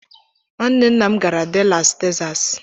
Nwanne nna m gara Dallas Texas.